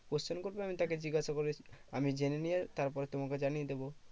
Question করবে আমি তাকে জিজ্ঞাসা করে আমি জেনে নিয়ে তারপরে তোমাকে জানিয়ে দেবো।